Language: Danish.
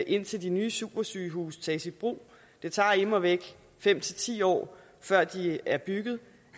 indtil de nye supersygehuse tages i brug det tager immer væk fem ti år før de er bygget